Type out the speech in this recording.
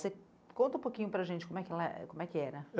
Você conta um pouquinho para gente como é que ela eh, como é que era?